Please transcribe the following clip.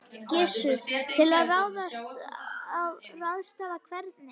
Gissur: Til að ráðstafa hvernig?